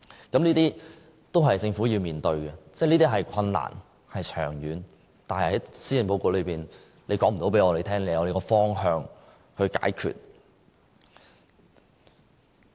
這些都是政府要面對的，這是困難、長遠的，但施政報告沒有告訴我們，政府已有方向解決。